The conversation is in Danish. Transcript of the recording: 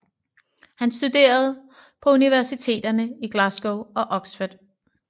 Han studerede på universiteterne i Glasgow og Oxford